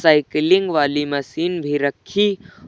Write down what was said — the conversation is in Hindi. साइकिलिंग वाली मशीन भी रखी--